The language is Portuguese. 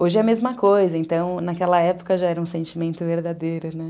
Hoje é a mesma coisa, então, naquela época já era um sentimento verdadeiro, né?